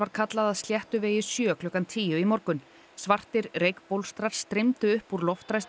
kallað að Sléttuvegi sjö klukkan tíu í morgun svartir streymdu upp úr